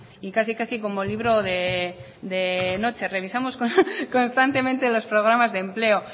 y casi casi como libro de noche revisamos constantemente los programas de empleo